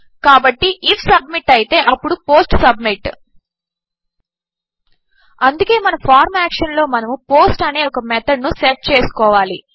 కాబట్టి if submit అయితేఅప్పుడు post submit అందుకే మన ఫార్మ్ యాక్షన్ లోమనము పోస్ట్ అనేఒక మెథడ్ నుసెట్చేసుకోవాలి